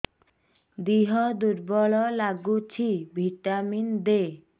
ଦିହ ଦୁର୍ବଳ ଲାଗୁଛି ଭିଟାମିନ ଦେ